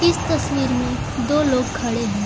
इस तस्वीर में दो लोग खड़े हैं।